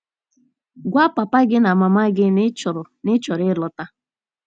Gwa papa gị na mama gị na ị chọrọ na ị chọrọ ịlọta.